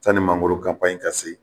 Sanni mangoro ka se